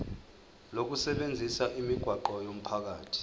lokusebenzisa imigwaqo yomphakathi